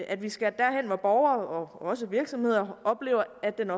at vi skal derhen hvor borgere og også virksomheder oplever at den